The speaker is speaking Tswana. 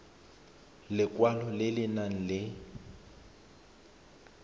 lekwalo le le nang le